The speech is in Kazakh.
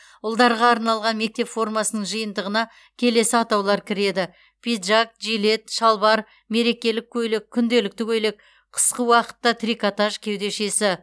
ұлдарға арналған мектеп формасының жиынтығына келесі атаулар кіреді пиджак жилет шалбар мерекелік көйлек күнделікті көйлек қысқы уақытта трикотаж кеудешесі